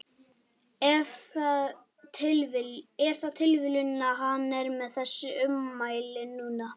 Er það tilviljun að hann er með þessi ummæli núna?